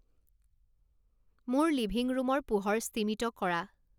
মোৰ লিভিং ৰুমৰ পোহৰ স্তিমিত কৰা